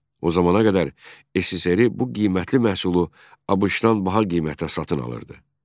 O zamana qədər SSRİ bu qiymətli məhsulu ABŞ-dan daha qiymətə satın alırdı.